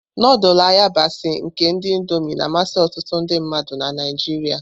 Nudulu ayabasi nke ndi Indómii na-amasị ọtụtụ ndị mmadụ na Naijiria.